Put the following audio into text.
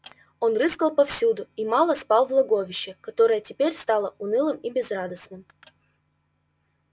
он рыскал повсюду и мало спал в логовище которое теперь стало унылым и безрадостным